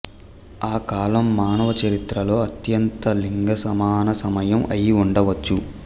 ఆ కాలం మానవ చరిత్రలో అత్యంత లింగసమాన సమయం అయి ఉండవచ్చు